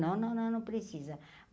Não, não, não, não precisa.